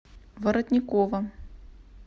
воротникова